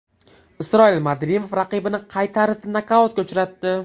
Isroil Madrimov raqibini qay tarzda nokautga uchratdi?